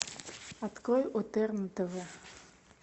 открой отерн тв